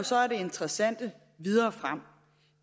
så er det interessante videre frem